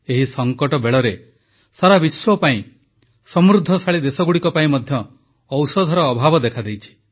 ଏହି ସଙ୍କଟ ବେଳରେ ସାରା ବିଶ୍ୱ ପାଇଁ ସମୃଦ୍ଧିଶାଳୀ ଦେଶଗୁଡ଼ିକ ପାଇଁ ମଧ୍ୟ ଔଷଧର ଅଭାବ ଦେଖାଦେଇଛି